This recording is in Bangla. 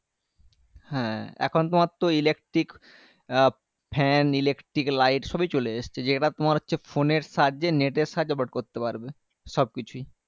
হ্যাঁ এখন তোমারতো electric আ fan electric light সবই চলে এসছে যেটা তোমার হচ্ছে phone এর সাহায্যে net এর সাহায্যে operate করতে পারবে সবকিছুই